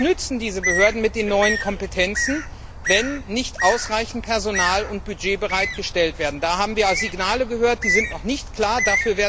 Was nützen diese Behörden mit den neuen Kompetenzen, wenn nicht ausreichend Personal und Budget bereitgestellt werden? Da haben wir Signale gehört, die noch nicht klar sind